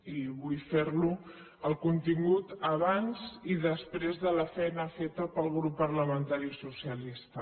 i vull fer ho el contingut abans i després de la feina feta pel grup parlamentari socialista